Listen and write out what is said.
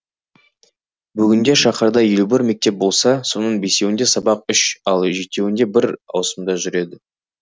бүгінде шаһарда елу бір мектеп болса соның бесеуінде сабақ үш ал жетеуінде бір ауысымда жүреді